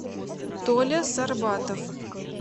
толя сарбатов